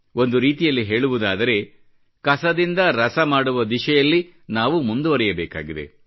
ಒಂದು ರೀತಿಯಲ್ಲಿ ಹೇಳುವುದಾದರೆ ಕಸದಿಂದ ರಸ ಮಾಡುವ ದಿಶೆಯಲ್ಲಿ ನಾವು ಮುಂದುವರೆಯಬೇಕಾಗಿದೆ